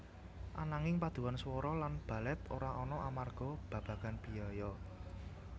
Ananging paduan swara lan balèt ora ana amarga babagan biaya